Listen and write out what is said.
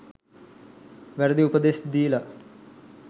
වැරදි උපදෙස් දීල.